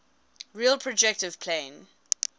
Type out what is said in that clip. real projective plane